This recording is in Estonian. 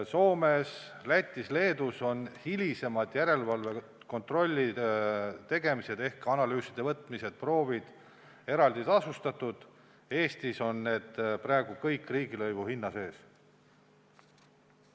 Soomes, Lätis ja Leedus on hilisemad järelevalvekontrollide tegemised ehk analüüside võtmised ja proovid eraldi tasustatud, Eestis on need praegu kõik riigilõivu hinna sees.